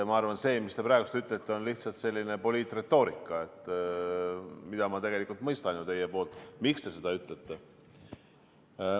Ma arvan, et see, mida te praegu ütlete, on lihtsalt poliitretoorika ja ma tegelikult mõistan, miks te seda ütlete.